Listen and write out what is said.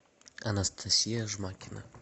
анастасия жмакина